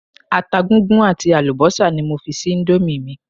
Ata gúngún àti àlùbọ́sà ni mo fi sí íńdómì mi.